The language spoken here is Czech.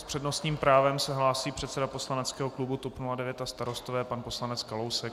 S přednostním právem se hlásí předseda poslaneckého klubu TOP 09 a Starostové pan poslanec Kalousek.